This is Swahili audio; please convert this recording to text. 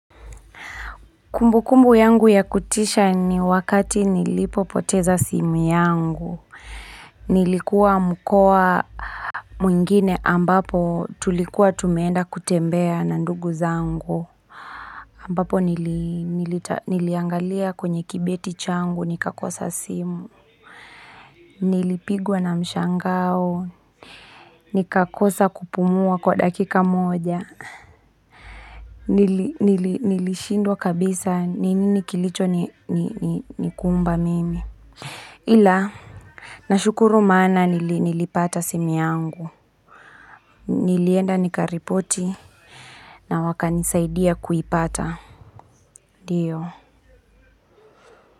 Kumbu kumbu yangu ya kutisha ni wakati nilipopoteza simu yangu. Nilikuwa mkoa, mwingine ambapo tulikuwa tumeenda kutembea na ndugu zangu. Ambapo niliangalia kwenye kibeti changu, nikakosa simu. Nilipigwa na mshangao. Nikakosa kupumua kwa dakika moja. Nilishindwa kabisa, nini kilicho nikumba mimi. Ila, nashukuru maana nilipata simu yangu, nilienda nikaripoti na wakanisaidia kuipata, ndio.